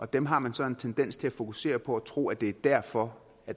dem har man så en tendens til at fokusere på og tro at det er derfor